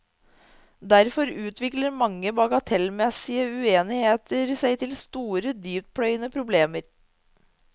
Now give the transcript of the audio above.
Derfor utvikler mange bagatellmessige uenigheter seg til store, dyptpløyende problemer.